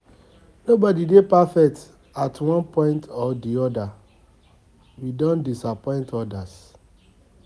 Nobody dey perfect at one point or di other we don disappoint odas